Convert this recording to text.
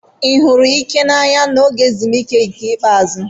Ị hụrụ Ike n'anya n'oge ezumike ikpeazụ?